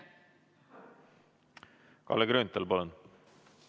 Kalle Grünthal, palun!